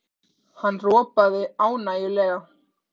Hann ropaði ánægjulega.